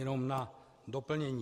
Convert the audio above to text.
Jenom na doplnění.